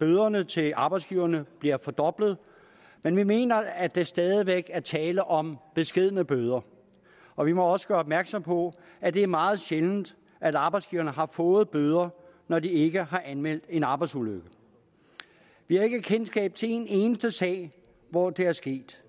bøderne til arbejdsgiverne bliver fordoblet men vi mener at der stadig væk er tale om beskedne bøder og vi må også gøre opmærksom på at det er meget sjældent at arbejdsgiverne har fået bøder når de ikke har anmeldt en arbejdsulykke vi har ikke kendskab til en eneste sag hvor det er sket